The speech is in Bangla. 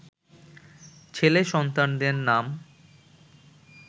ছেলে সন্তানদের নাম